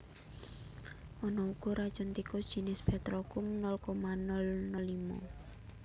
Ana uga racun tikus jinis petrokum nol koma nol nol limo